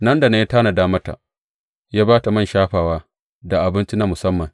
Nan da nan ya tanada mata, ya ba ta man shafawa da abinci na musamman.